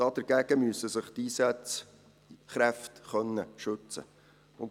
Davor müssen sich die Einsatzkräfte schützen können.